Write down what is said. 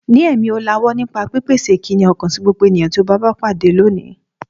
Ní ẹ̀mí ọ̀làwọ́ nípa pípèsè ìkíni ọkàn sí gbogbo ènìyàn tí o bá pàdé lónìí.